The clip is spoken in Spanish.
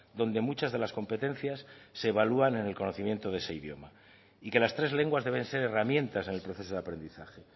donde muchas de las competencias se evalúan en el conocimiento de ese idioma y que las tres lenguas deben ser herramientas en el proceso de aprendizaje